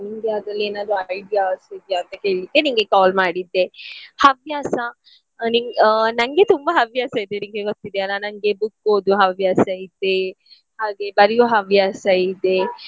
ನಿನ್ಗೆ ಅದ್ರಲ್ಲಿ ಏನಾದ್ರು ideas ಇದೆಯಾ ಅಂತ ಕೇಳಿಕ್ಕೆ ನಿನ್ಗೆ call ಮಾಡಿದ್ದೆ. ಹವ್ಯಾಸ ನಿನ್ ಆ ನನ್ಗೆ ತುಂಬ ಹವ್ಯಾಸ ಇದೆ ನಿನ್ಗೆ ಗೊತ್ತಿದೆಯಲ್ಲ ನನ್ಗೆ book ಓದುವ ಹವ್ಯಾಸ ಇದೆ ಹಾಗೆ ಬರಿಯೋ ಹವ್ಯಾಸ ಇದೆ .